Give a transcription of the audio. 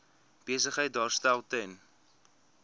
besigheid daarstel ten